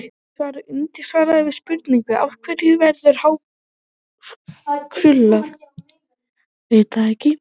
Í svari undirritaðs við spurningunni: Af hverju verður hár krullað?